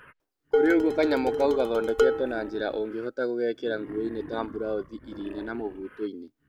kurĩ ũgũo kanyamũ kaũ gathondeketwo na njĩra ũngĩhota gũgekĩra ngũoinĩ ta blaũthi ĩrinda na mubuto-inĩ